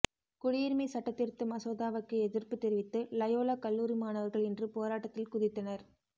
குடியுரிமை சட்டதிருத்த மசோதாவுக்கு எதிர்ப்பு தெரிவித்து லயோலா கல்லூரி மாணவர்கள் இன்று போராட்டத்தில் குதித்தனர்